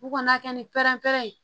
U kana kɛ ni pɛrɛnpɛrɛn ye